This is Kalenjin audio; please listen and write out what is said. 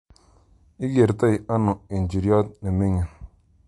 Ikertoi ano ijiryot nemigin